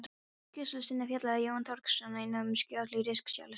skýrslu sinni fjallar Jón Þorkelsson einnig um skjöl í Ríkisskjalasafni